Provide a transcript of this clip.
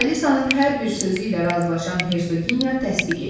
Alisanın hər bir sözü ilə razılaşan Hersoginya təsdiq etdi.